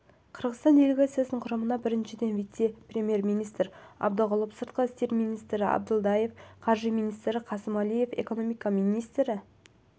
қырғызстан делегациясының құрамында бірінші вице-премьер-министр абдығұлов сыртқы істер министрі абдылдаев қаржы министрі қасымәлиев экономика министрі